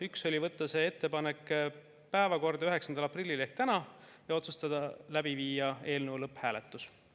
Üks otsus oli võtta see ettepanek päevakorda 9. aprillil ehk täna ja viia läbi eelnõu lõpphääletus.